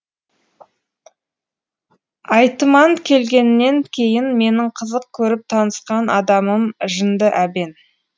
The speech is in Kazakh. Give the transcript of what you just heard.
айтыман келгеннен кейін менің қызық көріп танысқан адамым жынды әбен